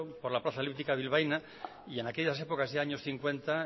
por la plaza elíptica bilbaína y en aquellas épocas años cincuenta